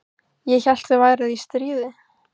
Ég hélt þið væruð í stríði?